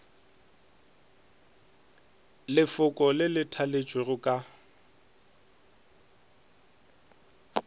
lefoko le le thaletšwego ka